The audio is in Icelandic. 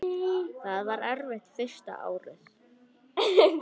Það var erfitt fyrsta árið.